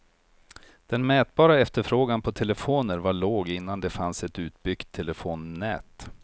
Den mätbara efterfrågan på telefoner var låg innan det fanns ett utbyggt telefonnät.